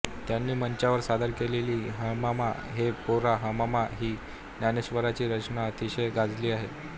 त्यांनी मंचावर सादर केलेली हमामा रे पोरा हमामा ही ज्ञानेश्वरांची रचना अतिशय गाजली आहे